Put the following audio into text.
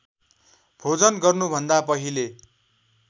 भोजन गर्नुभन्दा पहिले